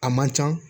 A man can